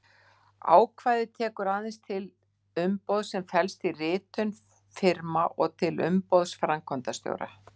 Ákvæðið tekur aðeins til umboðs sem felst í ritun firma og til umboðs framkvæmdastjóra.